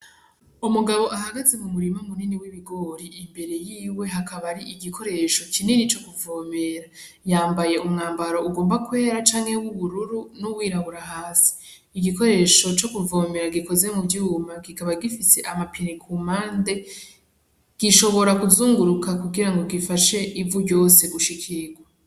Umugabo ahagaze mu murima mu nini w'ibigori imbere yiwe hakaba hari igikoresho kinini co kuvomera yambaye umwambaro ugomba kwera canke w'ubururu n'uwirabura hasi, Igikoresho co kuvomera gikoze mu vyuma kikaba gifise amapine kumpande gishobora kuzunguruka kugirango gifashe ivu ryose gushikirwa.